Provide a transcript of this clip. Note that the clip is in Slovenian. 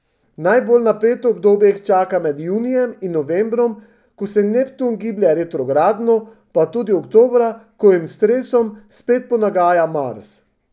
Najbolj napeto obdobje jih čaka med junijem in novembrom, ko se Neptun giblje retrogradno, pa tudi oktobra, ko jim s stresom spet ponagaja Mars.